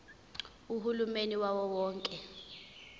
uhulumeni wawo wonke